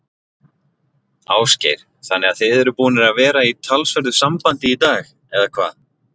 Ásgeir: Þannig að þið eruð búnir að vera í talsverðu sambandi í dag, eða hvað?